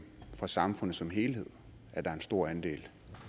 for samfundet som helhed at der er en stor andel